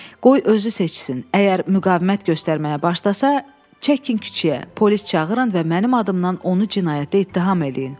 Qoy özü seçsin, əgər müqavimət göstərməyə başlasa, çəkin küçəyə, polis çağırın və mənim adımdan onu cinayətdə ittiham eləyin.